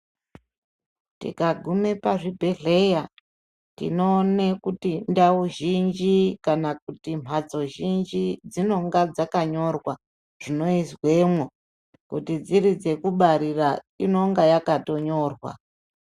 Tikaguma pazvibhebhedhlera tinoone kuti ndau zhinji kana kuti mhatso zhinji dzinonga dzakanyorwa zvinoizwemwo kuti dziri dzekubarira inonga yakatonyorwa.